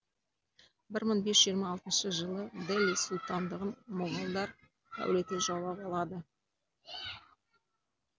бір мың бес жүз жиырма алтыншы жылы дели сұлтандығын моғолдар әулеті жаулап алады